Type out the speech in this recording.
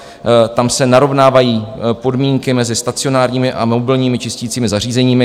Tam se narovnávají podmínky mezi stacionárními a mobilními čistícími zařízeními.